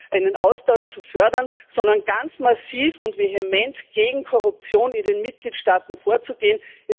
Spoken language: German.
einen Austausch zu fördern, sondern ganz massiv und vehement gegen Korruption in den Mitgliedstaaten vorzugehen.